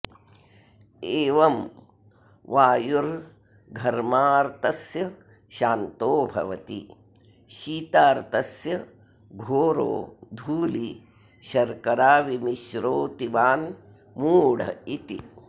एवं वायुर्घर्मार्तस्य शान्तो भवति शीतार्तस्य घोरो धूलीशर्कराविमिश्रोऽतिवान् मूढ इति